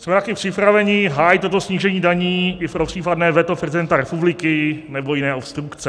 Jsme také připraveni hájit toto snížení daní i pro případné veto prezidenta republiky nebo jiné obstrukce.